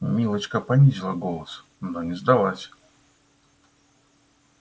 милочка понизила голос но не сдалась